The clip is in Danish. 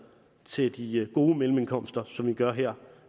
til de gode mellemindkomster som vi gør her